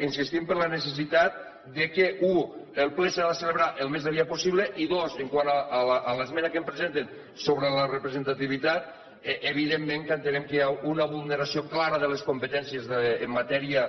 insistim en la necessitat que u el ple s’ha de celebrar el més aviat possible i dos quant a l’esmena que em presenten sobre la representativitat evidentment que entenem que hi ha una vulneració clara de les competències en matèria